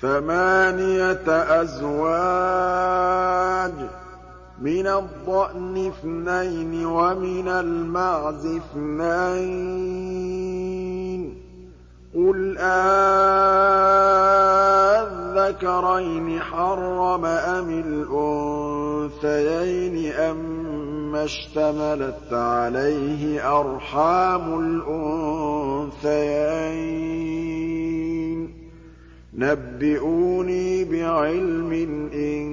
ثَمَانِيَةَ أَزْوَاجٍ ۖ مِّنَ الضَّأْنِ اثْنَيْنِ وَمِنَ الْمَعْزِ اثْنَيْنِ ۗ قُلْ آلذَّكَرَيْنِ حَرَّمَ أَمِ الْأُنثَيَيْنِ أَمَّا اشْتَمَلَتْ عَلَيْهِ أَرْحَامُ الْأُنثَيَيْنِ ۖ نَبِّئُونِي بِعِلْمٍ إِن